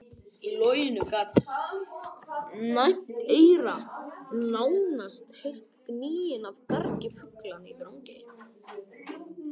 Í logninu gat næmt eyra nánast heyrt gnýinn af gargi fuglanna í Drangey.